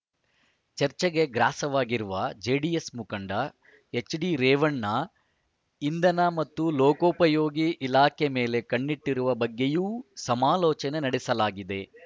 ಚರ್ಚೆಗೆ ಗ್ರಾಸವಾಗಿರುವ ಜೆಡಿಎಸ್‌ ಮುಖಂಡ ಎಚ್‌ಡಿರೇವಣ್ಣ ಇಂಧನ ಮತ್ತು ಲೋಕೋಪಯೋಗಿ ಇಲಾಖೆ ಮೇಲೆ ಕಣ್ಣಿಟ್ಟಿರುವ ಬಗ್ಗೆಯೂ ಸಮಾಲೋಚನೆ ನಡೆಸಲಾಗಿದೆ